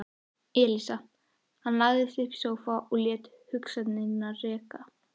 Elísa Hann lagðist upp í sófa og lét hugsanirnar reika.